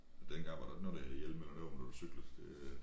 Dengang var der ikke noget der hed hjelm eller noget når du cyklede det